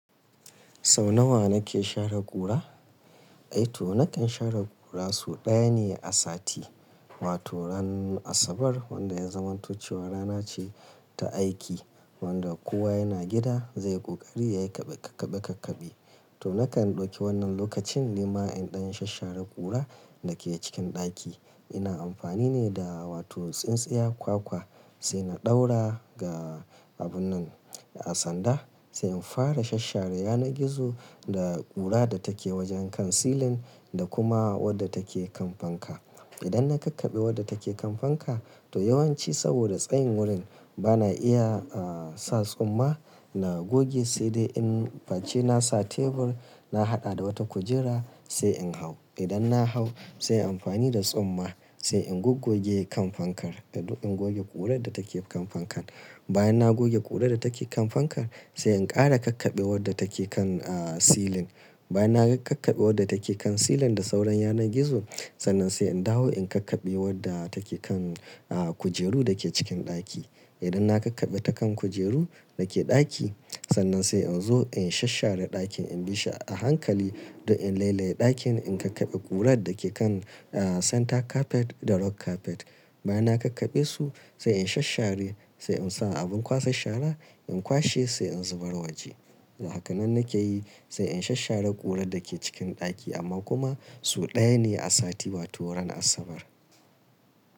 Sau nawa na ke share ƙura? E to na kan share ƙura sau ɗaya ne a sati. Wato ranar Asabar wanda ya zamantancewa rana ce ta aiki wanda kowa yana gida zai ƙoƙari yayi ƙabe ƙabe ƙabe ƙabe. To na kan ɗauki wannan lokacin nima in ɗan shashshara ƙura da ke cikin ɗaki. Ina amfani ne da wato tsintsiya kwakwa sai na ɗaura ga abun nan a sanda sai in fara shashshare yanar gizo da ƙura da take wajen kan silin da kuma wadda take kan fanka. Idan na ƙakkabe wadda take kan fanka, to yawanci saboda tsayin wurin bana iya, ah, sa tsumma, na goge sai dai in bace na sa tebur na haɗa da wata kujera sai in hau. Idan na hau sai in amfani da tsumma sai in gogoge kan fankar, in goge ƙurar da take kan fankar. Bayan na goge ƙurar da take kan fankar sai in ƙara ƙakkabe wadda take kan, ah, silin. Bayan na kakkabe wadda take kan silin da sauran yanar gizon, sannan sai in dawo in ƙakkabe wadda take kan, ah, kujeru da ke cikin ɗaki. Idan na ƙakkabe ta kan kujeru da ke ɗaki sannan sai in zo in shashshare ɗakin in bi a hankali da in lailaye ɗakin in ƙakkabe ƙurar da ke kan, ah, center carpet da rug carpet. Bayan na kakkabe su sai in shashshari sai in sa abin kwasan shara in kwashe sai in zubar waje. Hakanan nake yi sai in shashshare ƙurar da ke cikin ɗaki amma kuma sau ɗaya ne a sati wato ranar Asabar.